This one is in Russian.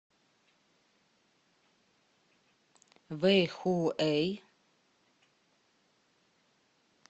вэйхуэй